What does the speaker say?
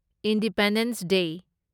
independence ꯗꯦ